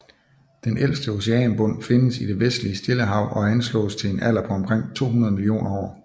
Den ældste oceanbund findes i det vestlige Stillehav og anslås til en alder på omkring 200 millioner år